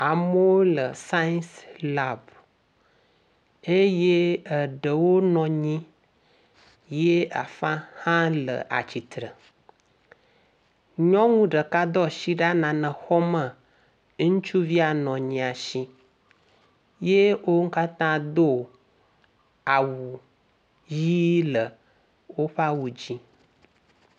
Amewo le sais lab eye eɖewo nɔ anyi ye afa hã le atsitre. Nyɔnu ɖeka do asi ɖa le nane xɔm le ŋutsuvia ya nɔ anyia si ye wo katã do awu ʋɛ̃ le woƒe awu dzi.